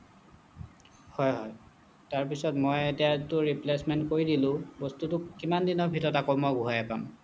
হ'য় হ'য় তাৰ পিছত মই এতিয়াটো replacement কৰি দিলোঁ বস্তুটো কিমান দিনৰ ভিতৰত আকৌ মই ঘূৰাই পাম